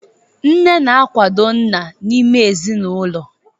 Nne na-akwado nna n'ime ezinụlọ.